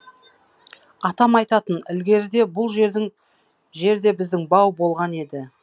атам айтатын ілгеріде бұл жерде біздің бау болған еді